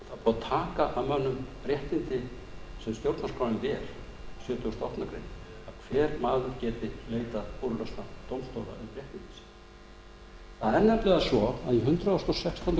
er búið að taka af mönnum réttindin sem stjórnarskráin ver sjötugasta grein að hver maður geti leitað úrlausnar dómstóla um réttindi sín í hundrað og sextándu